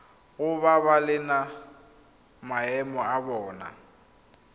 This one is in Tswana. go babalela maemo a bona